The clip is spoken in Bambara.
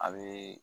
A bɛ